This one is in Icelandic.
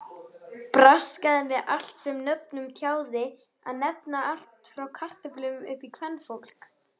Braskaði með allt sem nöfnum tjáði að nefna, allt frá kartöflum upp í kvenfólk!